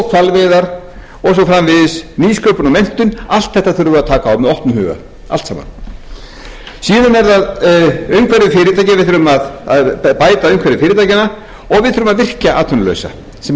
hvalveiðar og svo framvegis nýsköpun og menntun öllu þessu þurfum við að taka á með opnum huga allt saman síðan er það umhverfi fyrirtækja við þurfum að bæta umhverfi fyrirtækjanna og við þurfum að virkja atvinnulausa sem reyndar hefur verið gert með góðum árangri